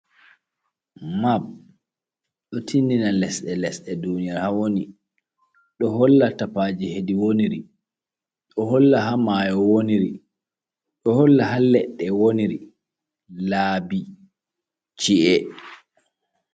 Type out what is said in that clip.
Mab ɗo tinɗina lesɗe lesɗe ɗuniyaru ha woni. Ɗo holla tapaje heɗi woniri. Ɗo holla ha mayo woniri. Ɗo holla ha leɗɗe woniri. Laabi, ci’e.